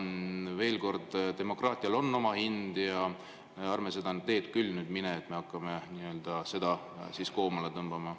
Veel kord: demokraatial on oma hind ja ärme seda teed küll lähme, et me hakkame seda koomale tõmbama.